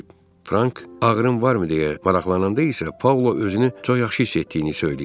Frank ağrın varmı deyə maraqlananda isə Paula özünü çox yaxşı hiss etdiyini söyləyib.